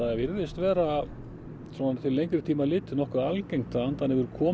svona til lengri tíma litið nokkuð algengt að andarnefjur komi hingað inn